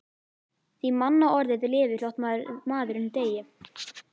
Því mannorðið lifir þótt maðurinn deyi.